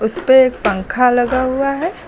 उसपे एक पंखा लगा हुआ है।